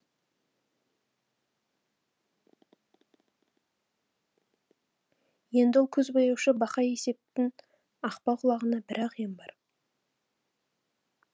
енді ол көзбояушы бақай есептін ақпа құлағына бір ақ ем бар